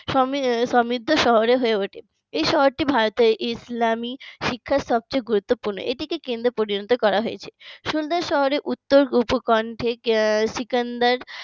সমৃদ্ধ শহরে হয়ে ওঠে এই শহরটি ভারতের ইসলামী শিক্ষার সবচাইতে গুরুত্বপূর্ণ এটিকে কেন্দ্রে পরিণত করা হয়েছে সুন্দর শহরের উত্তর উপ কণ্ঠে সিকান্দার